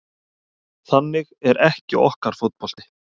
Þannig er ekki okkar fótbolti